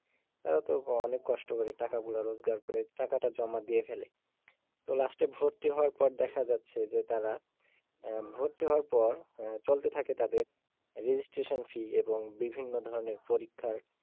তারা তো অনেক কষ্ট করে টাকা গুলো রোজগার করে টাকা টা জমা দিয়ে ফেলে তো last এ ভর্তি হওয়ার পর দেখা যাচ্ছে যে তারা আহ ভর্তি হওয়ার পর চলতে থাকে তাদের registration fee এবং বিভিন্ন ধরনের পরিক্ষার,